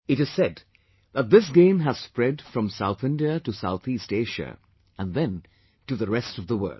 It is said that this game has spread from South India to Southeast Asia and then to the rest of theworld